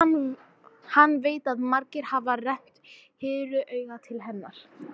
Hann veit að margir hafa rennt hýru auga til hennar.